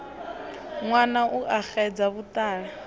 ṅwala u a xedza vhuṱala